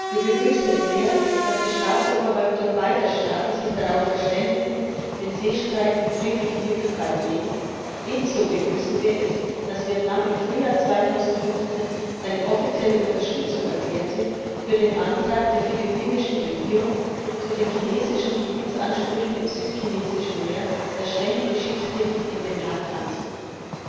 Wir begrüßen es sehr, dass die Staatsoberhäupter beider Staaten sich darauf verständigt haben, den Seestreit mit friedlichen Mitteln beizulegen. Ebenso begrüßen wir, dass Vietnam im Frühjahr 2015 seine offizielle Unterstützung für den Antrag der philippinischen Regierung erklärt hat, zu den chinesischen Gebietsansprüchen im Südchinesischen Meer den Ständigen Schiedshof in Den Haag anzurufen.